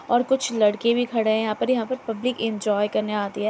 और कुछ लड़के भी खड़े है यहाँ पर। यहाँ पर पब्लिक इन्जॉय करने आती है।